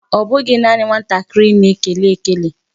Mba, ọ bụghị naanị nwatakịrị na-ekele ekele.